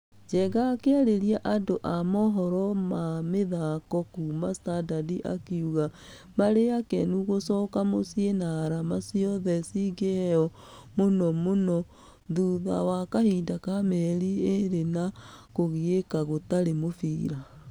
Njega akĩarĩria nadũ amũhoro ma mĩthako kuuma standard akĩuga , marĩakĩnu gũcoka mũcii na arama ciothe cingĩgeo mũnomũno thitha wa kahinda ga mieri ĩrĩ ya kũgieka gũtari mũbira.